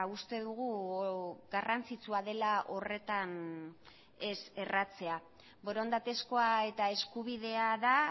uste dugu garrantzitsua dela horretan ez erratzea borondatezkoa eta eskubidea da